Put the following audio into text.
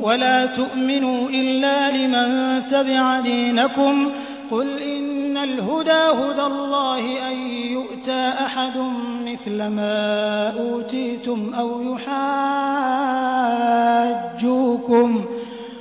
وَلَا تُؤْمِنُوا إِلَّا لِمَن تَبِعَ دِينَكُمْ قُلْ إِنَّ الْهُدَىٰ هُدَى اللَّهِ أَن يُؤْتَىٰ أَحَدٌ مِّثْلَ مَا أُوتِيتُمْ